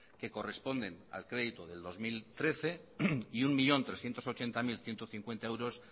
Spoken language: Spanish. que corresponden al crédito del dos mil trece y un millón trescientos ochenta mil ciento cincuenta euros